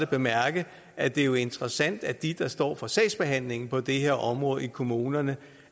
bemærke at det jo er interessant at de der står for sagsbehandlingen på det her område i kommunerne